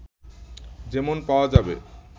যেমন পাওয়া যাবে